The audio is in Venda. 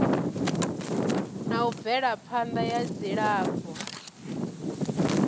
na u bvelaphanda ya dzilafho